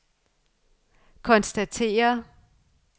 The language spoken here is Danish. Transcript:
konstaterer